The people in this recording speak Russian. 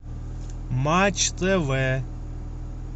матч тв